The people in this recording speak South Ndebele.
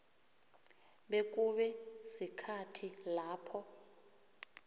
bekube sikhathi lapho